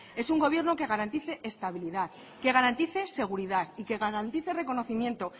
es un gobierno que garantice estabilidad que garantice seguridad y que garantice reconocimiento